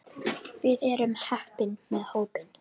Við erum heppin með hópinn.